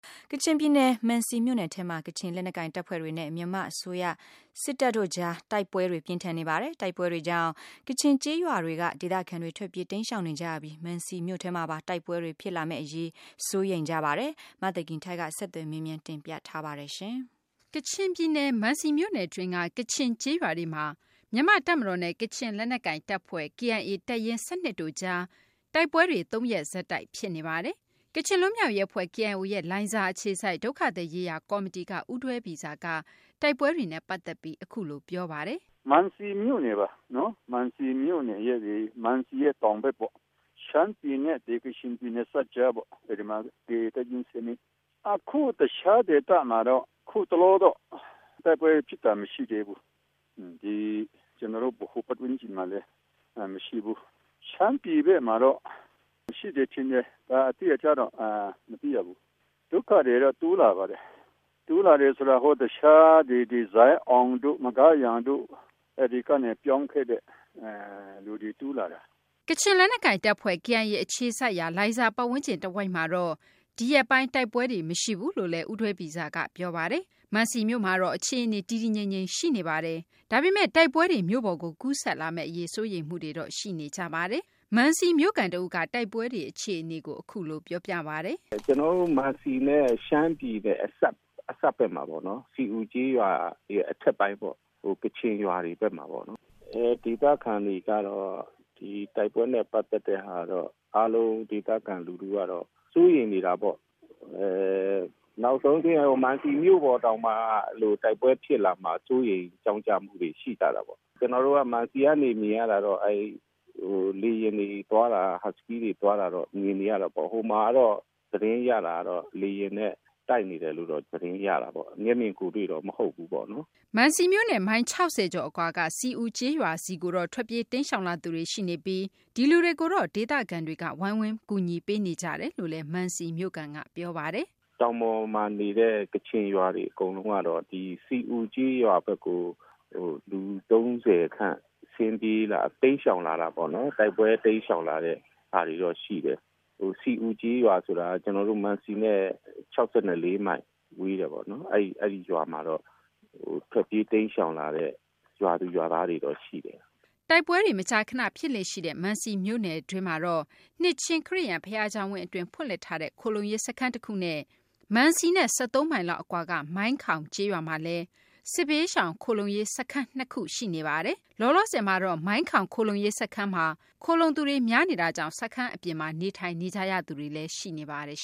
ကချင်ပြည်နယ် မံစီမြို့နယ်ထဲမှာ ကချင်လက်နက်ကိုင်တပ်ဖွဲ့တွေနဲ့ မြန်မာ့တပ်မတော်တို့ကြား တိုက်ပွဲတွေ ပြင်းထန်နေပါတယ်။ တိုက်ပွဲတွေကြောင့် ကချင်ကျေးရွာတွေက ဒေသခံတွေ ထွက်ပြေး တိမ်းရှောင်နေကြပြီး မံစီမြို့ထဲမှာပါ တိုက်ပွဲတွေ ဖြစ်လာမယ့်အရေး စိုးရိမ်နေကြပါတယ်။ အသေးစိတ် ကို မသိင်္ဂီထိုက်က ဆက်သွယ်မေးမြန်းပြီး တင်ပြထားပါတယ်။ ကချင်ပြည်နယ် မံစီမြို့နယ်တွင်းက ကချင်ကျေးရွာတွေမှာ မြန်မာ့တပ်မတော်နဲ့ ကချင်လက်နက်ကိုင် တပ်ဖွဲ့ KIA ရဲ့ တပ်ရင်း ၁၂ တို့ကြား တိုက်ပွဲတွေ ၃ ရက်ဆက်တိုက် ဖြစ်နေပါတယ်။ ကချင် လွတ်မြောက်ရေးအဖွဲ့ KIO ရဲ့ လိုင်ဇာအခြေစိုက် ဒုက္ခသည်ရေးရာကော်မတီက ဦးဒွဲပီဆားက တိုက်ပွဲတွေနဲ့ပတ်သက်ပြီး ပြောပါတယ်။ “မံစီမြို့နယ်ပါ။ မံစီမြို့နယ်ရဲ့ တောင်ဘက်ပေါ့ ရှမ်းပြည်နဲ့ ကချင်ပြည်နယ်စပ်ကြားပေါ့။ အဲဒီမှာ တပ်ရင်း ၁၂ အခု တခြားဒေသမှာတော့ အခုတလောတော့ တိုက်ပွဲဖြစ်တာ မရှိသေးဘူး။ ကျနော်တို့ ဗဟို ပတ်ဝန်းကျင်မှာလည်း မရှိဘူး။ ရှမ်းပြည်ဘက်မှာတော့ ရှိတယ်ထင်တယ်။ အတိအကျတော့ မသိရဘူး။ ဒုက္ခသည်တော့ တိုးလာပါတယ်။ တိုးလာတယ်ဆိုတာ ဇိုင်းအောင်တို့၊ မဂါးရန်တို့ အဲဒီကနေ ပြောင်းခဲ့တဲ့ လူတွေ တိုးလာတာ။” ကချင်လက်နက်ကိုင်တပ်ဖွဲ့ KIA အခြေစိုက်ရာ လိုင်ဇာပတ်ဝန်းကျင် တဝိုက်မှာတော့ ဒီရက်ပိုင်း တိုက်ပွဲတွေ မရှိဘူးလို့လည်း ဦးဒွဲပီဆားက ပြောပါတယ်။ မန်စီမြို့မှာတော့ အခြေအနေ တည်တည်ငြိမ် ငြိမ် ရှိနေပါတယ်။ ဒါပေမဲ့ တိုက်ပွဲတွေမြို့ပေါ်ကို ကူးစက်လာမယ့်အရေး စိုးရိမ်မှုတွေတော့ ရှိနေတာပါ။ မံစီမြို့ခံတဦးကလည်း တိုက်ပွဲတွေ အခြေအနေကို အခုလို ပြောပါတယ်။ “ကျနော်တို့ မံစီနဲ့ ရှမ်းပြည်နယ်နဲ့ အစပ်ဘက်မှာပေါ့နော်။ စီအူကျေးရွာအထက်ပိုင်းပေ့ါ။ ကချင်ရွာတွေဘက်မှာပေါ့နော်။ ဒေသခံတွေကတော့ တိုက်ပွဲနဲ့ပတ်သက်တဲ့ဟာတော့ အားလုံး ဒေသခံလူထုကတော့ စိုးရိမ်နေတာပေါ့။ နောက်ဆုံးအဆင့် မံစီမြို့ပေါ်တောင်မှ တိုက်ပွဲဖြစ်လာမှာကို စိုးရိမ်ကြောင့်ကြမှုတွေ ရှိတာပေါ့။ ကျနော်တို့ မံစီကနေ မြင်ရတာတော့ လေယာဉ်တွေသွားတာ၊ ရဟတ်ယာဉ်တွေသွားတာတော့ မြင်နေရတာပေါ့။ ဟိုမှာကတော့ သတင်းရတာကတော့ လေယာဉ်နဲ့ တိုက်နေတယ်လို့ သတင်းရတာပေါ့။ မျက်မြင်ကိုယ်တွေ့တော့ မဟုတ်ဘူးပေါ့နော်။” မံစီမြို့နဲ့ မိုင် ၆၀ ကျော်အကွာက စီအူကျေးရွာဆီကိုတော့ ထွက်ပြေး တိမ်းရှောင်လာသူတွေ ရှိနေပြီး ဒီလူတွေကိုတော့ ဒေသခံတွေက ဝိုင်းဝန်းကူညီပေးနေကြပါတယ်လို့လည်း မံစီမြို့ခံက ပြောပါတယ်။ “တောင်ပေါ်မှာနေတဲ့ ကချင်ရွာတွေ အကုန်လုံးကတော့ စီအူကျေးရွာဘက်ကို လူ ၃၀ ခန့် တိမ်းရှောင် လာတာပေါ့နော်။ တိုက်ပွဲတိမ်းရှောင်လာတဲ့ ဟာတွေတော့ ရှိတယ်။ စီအူကျေးရွာဆိုတာက ကျနော်တို့ မံစီနဲ့ ၆၄ မိုင် ဝေးတယ်ပေါ့နော်။ အဲဒီရွာမှာတော့ ထွက်ပြေးတိမ်းရှောင်လာတဲ့ ရွာသူရွာသားတွေတော့ ရှိတယ်။” တိုက်ပွဲတွေ မကြာခဏ ဖြစ်လေ့ရှိတဲ့ မံစီမြို့နယ်တွင်းမှာတော့ နှစ်ခြင်းခရစ်ယာန် ဘုရားကျောင်းဝင်း အတွင်းမှာ ဖွင့်လှစ်ထားတဲ့ ခိုလှုံရေးစခန်းတခုနဲ့ မန်စီနဲ့ ၁၃ မိုင်လောက်အကွာက မိုင်းခေါင်ကျေးရွာမှာ လည်း စစ်ဘေးရှောင် ခိုလှုံရေးစခန်း ၂ ခု ရှိနေတာပါ။ လောလောဆယ်မှာတော့ မိုင်းခေါင် ခိုလှုံရေး စခန်းတွေမှာ ခိုလှုံသူတွေ များနေပြီး စခန်းအပြင်မှာ နေထိုင်နေကြရသူတွေလည်း ရှိနေပါတယ်